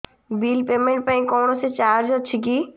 bill payment ପାଇଁ କୌଣସି charge ଅଛି କି